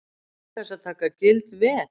Án þess að taka gild veð.